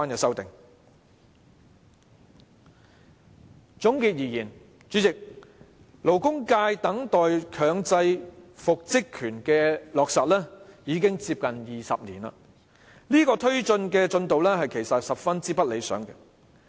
主席，總結而言，勞工界等待強制復職權的落實已接近20年，進度十分不理想。